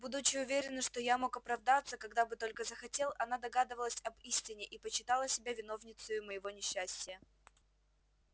будучи уверена что я мог оправдаться когда бы только захотел она догадывалась об истине и почитала себя виновницею моего несчастия